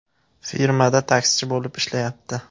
Firmada taksichi bo‘lib ishlayapti.